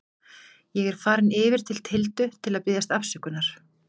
Ég er farinn yfir til Tildu til að biðjast afsökunar.